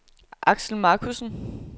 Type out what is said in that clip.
Aksel Markussen